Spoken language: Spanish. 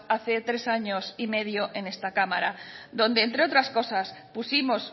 hace tres años y medio en esta cámara donde entre otras cosas pusimos